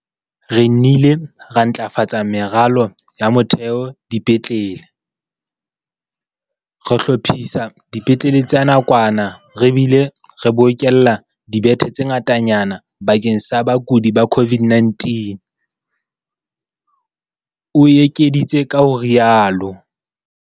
Re nnile ra ntlafatsa meralo ya motheo dipetlele, re hlophisa dipetlele tsa nakwana re bile re bokella dibethe tse ngatanyana bakeng sa bakudi ba COVID-19, o ekeditse ka ho rialo.